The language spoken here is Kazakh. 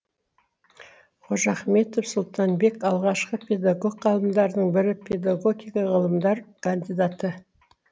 қожахметов сұлтанбек алғашқы педагог ғалымдардың бірі педагогика ғылымдар кандидаты